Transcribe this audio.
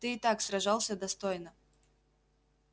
ты и так сражался достойно